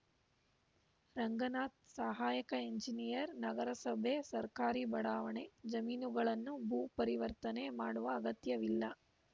ರಂಗನಾಥ್‌ ಸಹಾಯಕ ಎಂಜಿನಿಯರ್‌ ನಗರಸಭೆ ಸರ್ಕಾರಿ ಬಡಾವಣೆ ಜಮೀನುಗಳನ್ನು ಭೂ ಪರಿವರ್ತನೆ ಮಾಡುವ ಅಗತ್ಯವಿಲ್ಲ